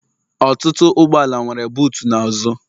Ọtụtụ ụgbọala nwere butuu n'azụ